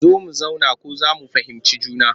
Zo mu zauna ko za mu fahimci juna